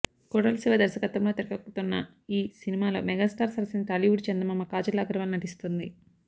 కొరటాల శివ దర్వకత్వంలో తెరకెక్కుతోన్న ఈ సినిమాలో మెగాస్టార్ సరసన టాలీవుడ్ చందమామ కాజల్ అగర్వాల్ నటిస్తుంది